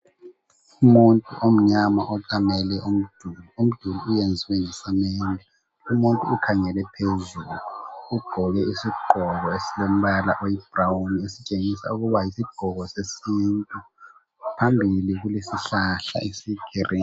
Umuntu omnyama oqamele umduli ,umduli oyenziwe ngesamende umuntu ukhangele phezulu ugqoke isigqoko esilombala oyi brown esitshengisa ukuba yisigqoko sesintu phambili kule sihlahla esiyi green.